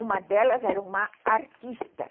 Uma delas era uma artista.